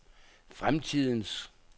fremtidens